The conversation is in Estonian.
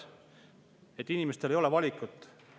Inimestel ei ole valikut.